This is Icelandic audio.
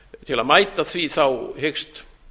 til að mæta því hyggst